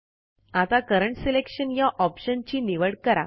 आता current selection या option ची निवड करा